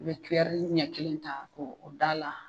N mɛ ɲɛ kelen ta ko o da la